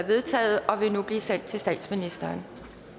vedtaget og vil nu blive sendt til statsministeren